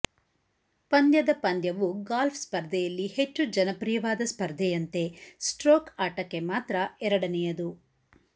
ಪಂದ್ಯದ ಪಂದ್ಯವು ಗಾಲ್ಫ್ ಸ್ಪರ್ಧೆಯಲ್ಲಿ ಹೆಚ್ಚು ಜನಪ್ರಿಯವಾದ ಸ್ಪರ್ಧೆಯಂತೆ ಸ್ಟ್ರೋಕ್ ಆಟಕ್ಕೆ ಮಾತ್ರ ಎರಡನೆಯದು